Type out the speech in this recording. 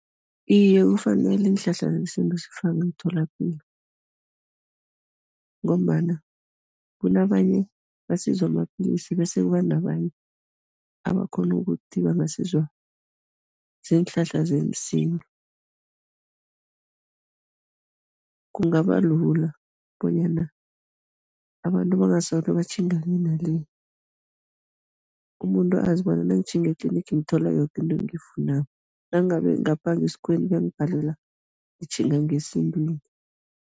Iye, kufanele iinhlahla zesintu zifakwe emtholapilo ngombana kunabanye basizwa mapilisi bese kuba nabanye abakghona ukuthi bangasizwa ziinhlahla zesintu. Kungaba lula bonyana abantu bangasolo batjhinga le nale, umuntu azi bona nangitjhinga e-clinic ngithola yoke into engiyifunako, nangabe ngapha ngesikhuweni kuyangibhalela, ngitjhinga ngesintwini.